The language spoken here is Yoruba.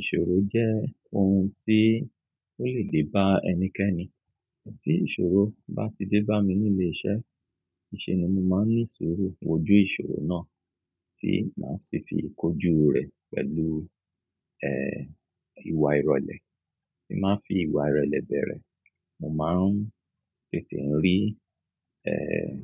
Ìṣòro jẹ́ ohun tí ó lè dé bá ẹnikẹ́ni. Tí ìṣòro bá ti dé bá mi nílé iṣẹ́, ìṣe ni mo máa ń ní ìṣòro wòjú ìṣòro náà tí máa sì fi kójú rẹ̀ pẹ̀lú, ẹ́, ìwà ìrọ̀lẹ́. Èmi máa ń fi ìwà ìrelẹ́ bẹ̀rẹ̀. Mo máa ń tètè ń rí, ẹ́,